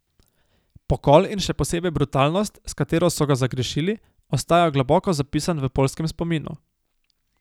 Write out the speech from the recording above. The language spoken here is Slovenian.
Pokol in še posebej brutalnost, s katero so ga zagrešili, ostaja globoko zapisan v poljskem spominu.